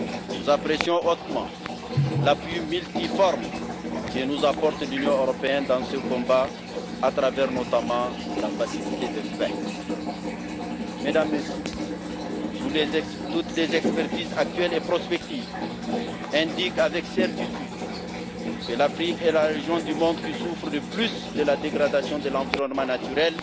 Nous apprécions hautement l'appui multiforme que nous apporte l'Union européenne dans ce combat à travers, notamment, la Facilité de paix. Mesdames, Messieurs, toutes les expertises actuelles et prospectives indiquent avec certitude que l'Afrique est la région du monde qui souffre le plus de la dégradation de l'environnement naturel